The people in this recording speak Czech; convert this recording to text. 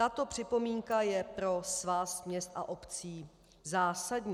Tato připomínka je pro Svaz měst a obcí zásadní.